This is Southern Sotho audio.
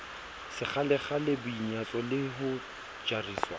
sekgalekgale boinyatso le ho jariswa